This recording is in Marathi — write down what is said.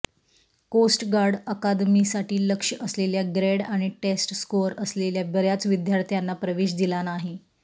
कोस्ट गार्ड अकादमीसाठी लक्ष्य असलेल्या ग्रेड आणि टेस्ट स्कोअर असलेल्या बर्याच विद्यार्थ्यांना प्रवेश दिला नाही